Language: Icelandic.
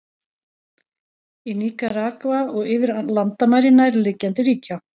Í Níkaragva og yfir landamæri nærliggjandi ríkja.